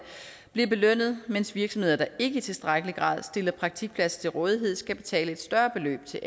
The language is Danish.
bliver belønnet mens virksomheder der ikke i tilstrækkelig grad stiller praktikpladser til rådighed skal betale et større beløb til